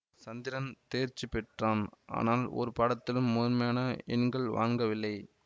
சந்திரன் தேர்ச்சி பெற்றான் ஆனால் ஒரு பாடத்திலும் முதன்மையான எண்கள் வாங்கவில்லை